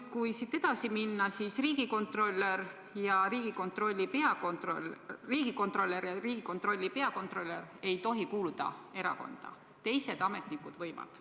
Kui siit edasi minna, siis riigikontrolör ja Riigikontrolli peakontrolörid ei tohi kuuluda erakonda, teised ametnikud võivad.